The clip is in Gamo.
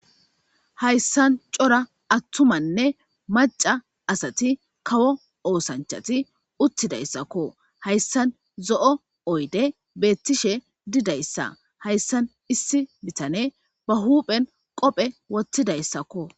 Hayssan cora attumanne macca asati kawo oosanchati uttidayssakko. Hayssan zo'o oyde beettishe didayssa hayssan issi bitane ba huuphen qophe woththidayssakko.